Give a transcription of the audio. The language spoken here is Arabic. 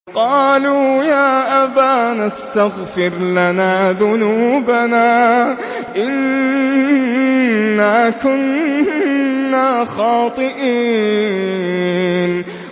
قَالُوا يَا أَبَانَا اسْتَغْفِرْ لَنَا ذُنُوبَنَا إِنَّا كُنَّا خَاطِئِينَ